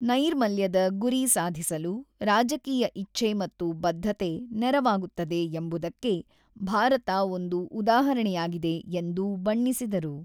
"""ನೈರ್ಮಲ್ಯದ ಗುರಿ ಸಾಧಿಸಲು ರಾಜಕೀಯ ಇಚ್ಛೆ ಮತ್ತು ಬದ್ಧತೆ ನೆರವಾಗುತ್ತದೆ ಎಂಬುದಕ್ಕೆ ಭಾರತ ಒಂದು ಉದಾಹರಣೆಯಾಗಿದೆ"" ಎಂದು ಬಣ್ಣಿಸಿದರು."